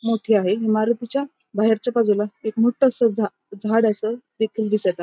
मोठी आहे इमारतीच्या बाहेरच्या बाजूला एक मोठं असं झा झाड असं देखील दिसत आ --